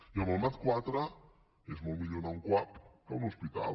i amb el mat iv és molt millor anar a un cuap que a un hospital